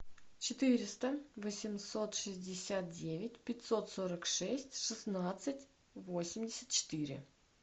четыреста восемьсот шестьдесят девять пятьсот сорок шесть шестнадцать восемьдесят четыре